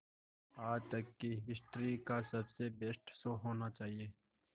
आज तक की हिस्ट्री का सबसे बेस्ट शो होना चाहिए